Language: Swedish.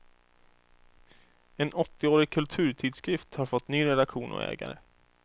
En åttioårig kulturtidskrift har fått ny redaktion och ägare.